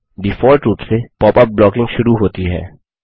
default रूप से pop up blocking शुरू होती है